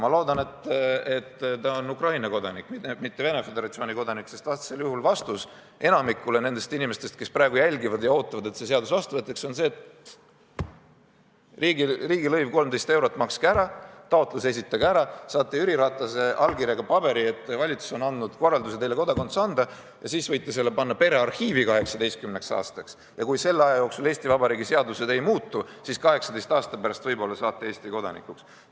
Ma loodan, et ta on Ukraina kodanik, mitte Venemaa Föderatsiooni kodanik, sest vastus enamikule nendest inimestest, kes praegu jälgivad ja ootavad, et see seadus vastu võetakse, on see, et riigilõiv 13 eurot makske ära, taotlus esitage ära, saate Jüri Ratase allkirjaga paberi, et valitsus on andnud korralduse teile kodakondsus anda, siis võite selle panna perearhiivi 18 aastaks ja kui selle aja jooksul Eesti Vabariigi seadused ei muutu, siis 18 aasta pärast võib-olla saate Eesti kodanikuks.